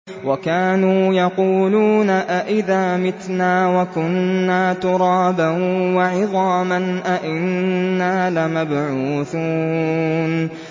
وَكَانُوا يَقُولُونَ أَئِذَا مِتْنَا وَكُنَّا تُرَابًا وَعِظَامًا أَإِنَّا لَمَبْعُوثُونَ